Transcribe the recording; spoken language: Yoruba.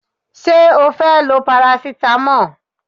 Ṣé o fẹ́ lo parasitamọ́ọ̀?